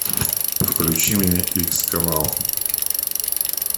включи мне икс канал